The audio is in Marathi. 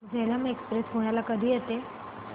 झेलम एक्सप्रेस पुण्याला कधी येते